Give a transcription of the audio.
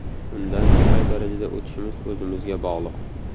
Undan qay darajada o‘tishimiz o‘zimizga bog‘liq”.